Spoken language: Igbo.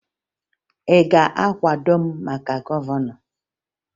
Ị ga-akwado m maka gọvanọ?